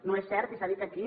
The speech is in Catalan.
no és cert i s’ha dit aquí